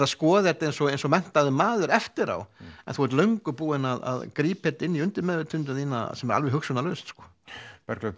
að skoða þetta eins og eins og menntaður maður eftir á en þú ert löngu búinn að grípa þetta inn í undirmeðvitundina alveg hugsunarlaust Bergljót